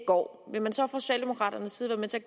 går vil man så fra socialdemokraternes side